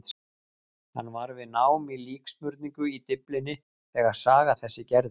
Hann var við nám í líksmurningu í Dyflinni þegar saga þessi gerðist.